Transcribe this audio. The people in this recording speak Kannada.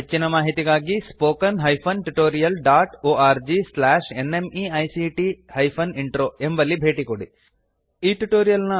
ಹೆಚ್ಚಿನ ಮಾಹಿತಿಗಾಗಿ httpspoken tutorialorgNMEICT Intro ಎಂಬಲ್ಲಿ ಭೇಟಿಕೊಡಿ